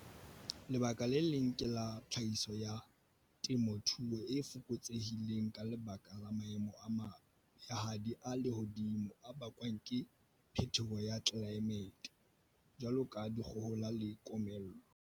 Lebaka le leng ke la tlhahiso ya temothuo e fokotsehileng ka lebaka la maemo a mabehadi a lehodimo a bakwang ke phetoho ya tlelaemete, jwalo ka dikgohola le komello.